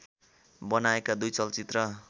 बनाएका दुई चलचित्र